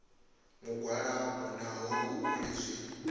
mugwalabo naho hu uri zwi